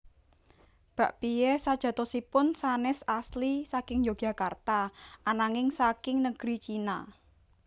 Bakpia sajatosipun sanés asli saking Yogyakarta ananging saking negeri China